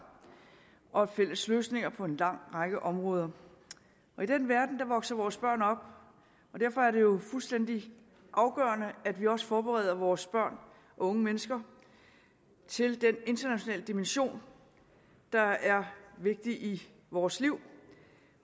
og fælles løsninger på en lang række områder i den verden vokser vores børn op og derfor er det jo fuldstændig afgørende at vi også forbereder vores børn og unge mennesker til den internationale dimension der er vigtig i vores liv